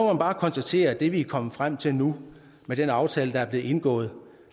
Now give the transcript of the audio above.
man bare konstatere at det vi er kommet frem til nu med den aftale der er blevet indgået